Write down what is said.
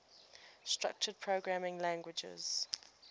structured programming languages